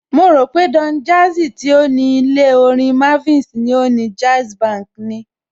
Mo rò pé Don Jazzy tí ó ní ilé Orin Mavins ni ó ni Jazzbank ni.